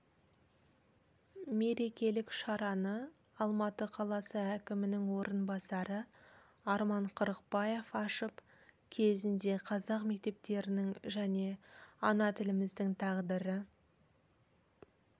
мерекелік шараны алматы қаласы әкімнің орынбасары арман қырықбаев ашып кезінде қазақ мектептерінің және ана тіліміздің тағдыры